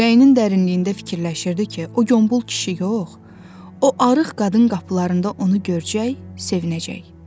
Ürəyinin dərinliyində fikirləşirdi ki, o qombol kişi yox, o arıq qadın qapılarında onu görçək sevinəcək.